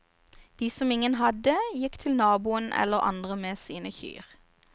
De som ingen hadde, gikk til naboen eller andre med sine kyr.